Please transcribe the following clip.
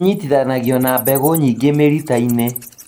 inyitithanagio na mbegũ nyingĩ mĩrita-inĩ